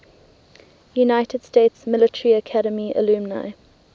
united states military academy alumni